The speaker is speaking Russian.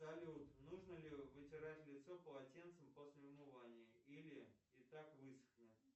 салют нужно ли вытирать лицо полотенцем после умывания или и так высохнет